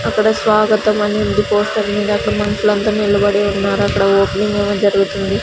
అక్కడ స్వాగతం అనివుంది పోస్టర్ మీద అక్కడ మనుషులంతా నిలబడి ఉన్నారు అక్కడ ఓపెనింగ్ ఏమో జరుగుతుంది.